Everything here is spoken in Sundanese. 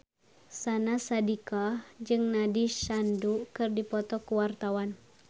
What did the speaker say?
Syahnaz Sadiqah jeung Nandish Sandhu keur dipoto ku wartawan